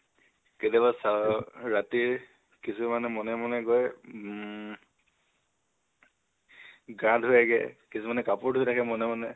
কেতিয়াবা sir ৰ ৰাতি কিছোমানে মনে মনে গৈ উম গা ধুয়েগে, কিছোমানে কাপোৰ ধুই থাকে মনে মনে